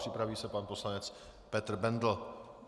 Připraví se pan poslanec Petr Bendl.